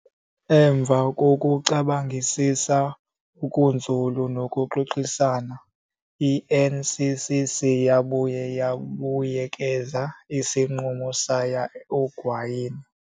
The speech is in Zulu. Emva kokucabangisisa okunzulu nokuxoxisana, i-NCCC yabuye yabuyekeza isinqumo sayo egwayini.